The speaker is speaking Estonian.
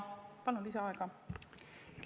Palun lisaaega!